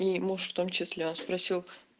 и муж в том числе он спросил